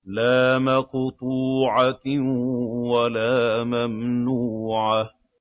لَّا مَقْطُوعَةٍ وَلَا مَمْنُوعَةٍ